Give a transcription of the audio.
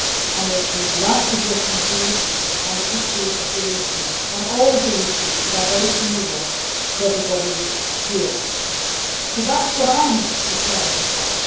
on the rights of refugees, on the issue of Jerusalem, on all of the issues that are very familiar to everybody here. That is what I am determined upon.